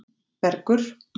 Bergur